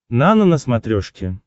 нано на смотрешке